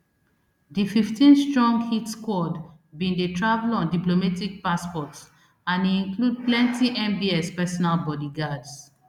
di fifteenstrong hit squad bin dey travel on diplomatic passports and e include plenty mbs personal bodyguards